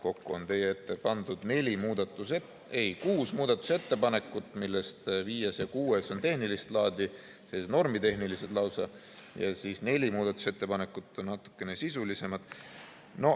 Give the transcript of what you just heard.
Kokku on teie ette pandud neli ..., ei, kuus muudatusettepanekut, millest viies ja kuues on tehnilist laadi, normitehnilised lausa, ja neli muudatusettepanekut on natukene sisulisemad.